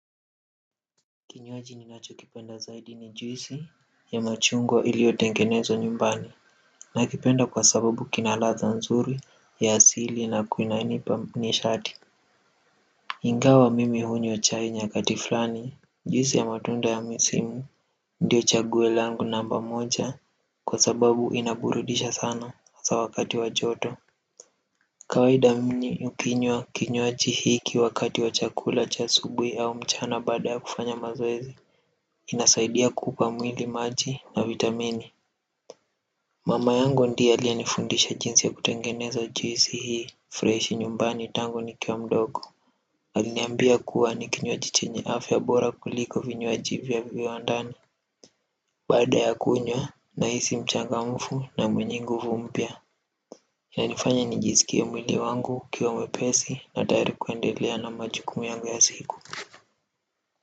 Kinywaji ninachokipenda zaidi ni juisi ya machungwa iliyotengenezwa nyumbani. Nakipenda kwa sababu ina ladha nzuri ya asili na inanipa nishati. Ingawa mimi hunywa chai nyakati fulani juisi ya matunda ya misimu ndio chaguo langu namba moja kwa sababu inaburudisha sana hasa wakati wa joto kawaida ukinywa kinywaji hiki wakati wa chakula cha asubuhi au mchana baada ya kufanya mazoezi inasaidia kuupa mwili maji na vitamini mama yangu ndiye aliye nifundisha jinsi ya kutengeneza juisi hii fresh nyumbani tangu nikiwa mdogo. Aliniambia kuwa ni kinywaji chenye afya bora kuliko vinywaji vya viwandani baada ya kunywa nahisi mchangamfu na mwenye nguvu mpya. Yanifanya nijisikie mwili wangu ukiwa mwepesi na tayari kuendelea na majukumu yangu ya siku.